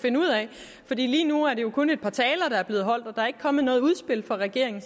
finde ud af for lige nu er det jo kun et par taler der er blevet holdt og der er ikke kommet noget udspil fra regeringen